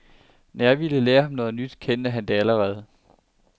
Når jeg ville lære ham noget nyt, kendte han det allerede.